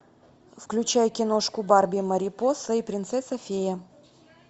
включай киношку барби марипоса и принцесса фея